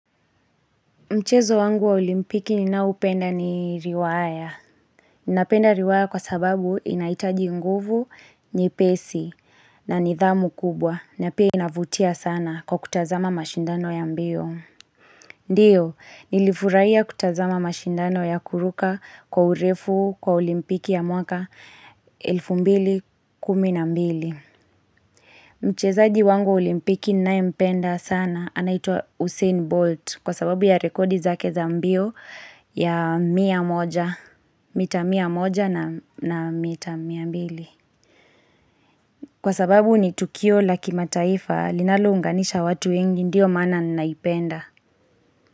Mchezo wangu wa olimpiki ninaoupenda ni riwaya. Ninapenda riwaya kwa sababu inahitaji nguvu ni pesi na nidhamu kubwa na pia inavutia sana kwa kutazama mashindano ya mbio. Ndiyo, nilifurahia kutazama mashindano ya kuruka kwa urefu kwa olimpiki ya mwaka 2012 Mchezaji wangu wa olimpiki ninayempenda sana anaitwa Hussein Bolt kwa sababu ya rekodi zake za mbio ya mia moja, mita mia moja na mita mia mbili. Kwa sababu ni Tukio la kimataifa linalounganisha watu wengi ndiyo maana ninaipenda.